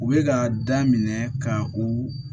U bɛ ka daminɛ ka u